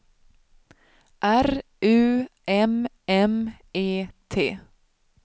R U M M E T